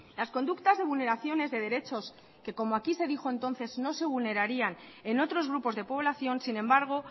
las conductas de vulneraciones de derechos que como aquí se dijo entonces no se vulnerarían en otros grupos de población sin embargo